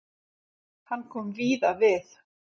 Hann kom víða við.